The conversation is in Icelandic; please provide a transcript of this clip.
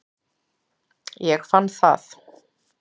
Ég fann það.